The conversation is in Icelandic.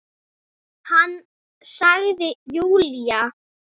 Hann sagði Júlía!